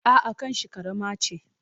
A'a, kanshi ƙarama ce.